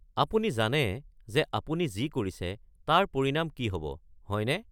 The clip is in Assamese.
আপুনি জানে যে আপুনি যি কৰিছে তাৰ পৰিণাম কি হ'ব, হয়নে?